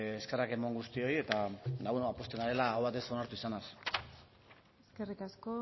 eskerrak eman guztioi eta pozten garela aho batez onartu izanaz eskerrik asko